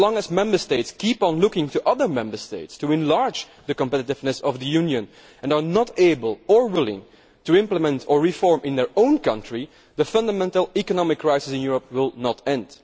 As long as Member States keep looking to other Member States to enlarge the competitiveness of the Union and are not able or willing to implement or reform in their own country, the fundamental economic crisis in Europe will not end.